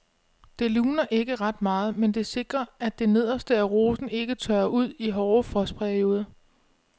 Det luner ikke ret meget, men det sikrer at det nederste af rosen ikke tørrer ud i hårde frostperioder.